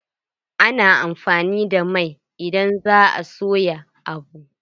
Ana amfani da mai idan za a soya abu.